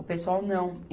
O pessoal não.